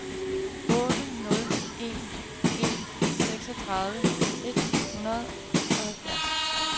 otte nul en en seksogtredive et hundrede og halvfjerds